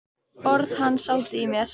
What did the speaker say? Orð hans sátu í mér.